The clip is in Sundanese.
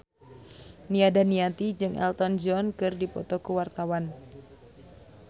Nia Daniati jeung Elton John keur dipoto ku wartawan